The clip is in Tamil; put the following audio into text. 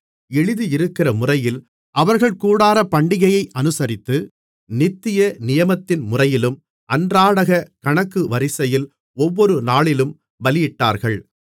எழுதியிருக்கிறமுறையில் அவர்கள் கூடாரப்பண்டிகையை அனுசரித்து நித்திய நியமத்தின்முறையிலும் அன்றாடகக் கணக்கு வரிசையில் ஒவ்வொரு நாளிலும் பலியிட்டார்கள்